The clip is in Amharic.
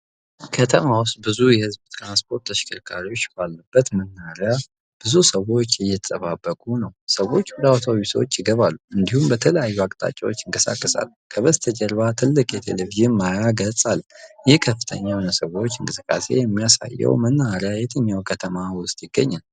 ከተማ ውስጥ ብዙ የህዝብ ትራንስፖርት ተሽከርካሪዎች ባሉበት መናኸሪያ ብዙ ሰዎች እየተጠባበቁ ነው። ሰዎች ወደ አውቶቡሶች ይገባሉ፤ እንዲሁም በተለያዩ አቅጣጫዎች ይንቀሳቀሳሉ። ከበስተጀርባ ትልቅ የቴሌቪዥን ማያ ገጽ አለ። ይህ ከፍተኛ የሆነ የሰዎች እንቅስቃሴ የሚያሳየው መናኸሪያ የትኛው ከተማ ውስጥ ይገኛል?